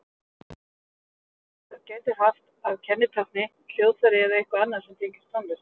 gyðjur tónlistar gætu haft að kennitákni hljóðfæri eða eitthvað annað sem tengist tónlist